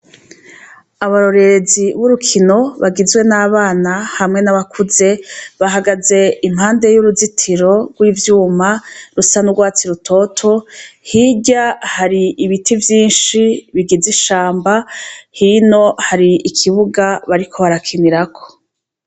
Abarorerezi bagizwe nabana hamwe nabakuze bahagaze impande yuruzitiro rwivyuma rusa nurwatsi rutoto hirya hari ibiti vyinshi bigizi ishamba hino hari ikibuga bariko barakinira ko.